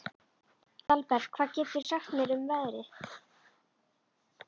Dalbert, hvað geturðu sagt mér um veðrið?